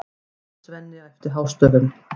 Svenni æpti hástöfum.